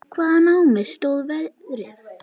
Hvaðan á mig stóð veðrið.